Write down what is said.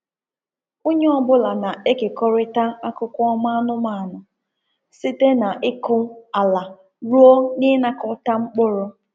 Onye ọ bụla na-ekekọrịta akụkọ ọma anụmanụ site na ịkụ ala ruo n’ịnakọta mkpụrụ.